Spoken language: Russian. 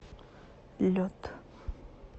лед